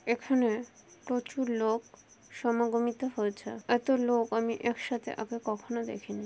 এখানে প্রচুর লোক সমাগমিত হয়েছে এত লোক আমি একসাথে আগে কখনো দেখিনি।